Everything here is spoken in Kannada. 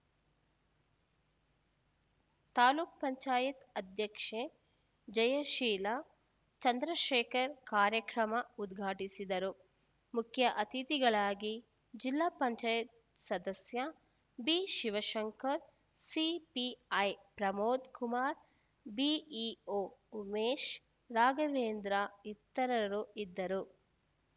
ತಾಲೂಕ್ ಪಂಚಾಯತ್ ಅಧ್ಯಕ್ಷೆ ಜಯಶೀಲ ಚಂದ್ರಶೇಖರ್‌ ಕಾರ್ಯಕ್ರಮ ಉದ್ಘಾಟಿಸಿದರು ಮುಖ್ಯಅತಿಥಿಗಳಾಗಿ ಜಿಲ್ಲಾ ಪಂಚಾಯತ್ ಸದಸ್ಯ ಬಿಶಿವಶಂಕರ್‌ಸಿಪಿಐ ಪ್ರಮೋದ್‌ ಕುಮಾರ್‌ಬಿಇಒ ಉಮೇಶ್‌ ರಾಘವೇಂದ್ರ ಇತರರು ಇದ್ದರು